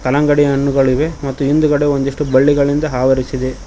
ಕಲ್ಲಂಗಡಿ ಹಣ್ಣುಗಳಿವೆ ಮತ್ತು ಹಿಂದ್ಗಡೆ ಒಂದಿಷ್ಟು ಬಳ್ಳಿಗಳಿಂದ ಆವರಿಸಿದೆ.